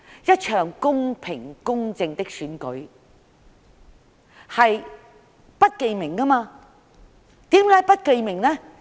一場公平、公正的選舉是不記名的，為甚麼？